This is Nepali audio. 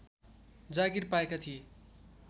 जागीर पाएका थिए